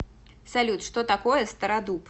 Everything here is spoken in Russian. салют что такое стародуб